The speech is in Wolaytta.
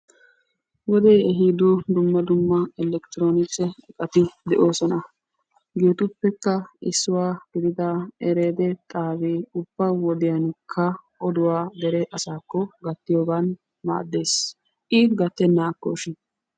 Wodee ehiido dumma dumma elekitiroonikise iqati de'oosona. Hegeetuppekka issuwa gidida ereede xaabee ubba wodiyanikka oduwa dere asaakko gattiyogan maaddes. I gattennaakko shin?